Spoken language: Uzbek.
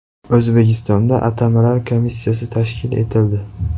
O‘zbekistonda atamalar komissiyasi tashkil etildi.